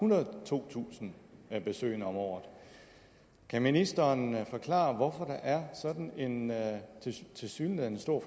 totusind besøgende om året kan ministeren forklare hvorfor der er sådan en tilsyneladende stor